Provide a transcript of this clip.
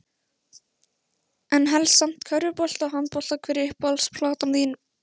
En helst samt körfubolta og handbolta Hver er uppáhalds platan þín?